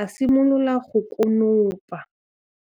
a simolola go konopa.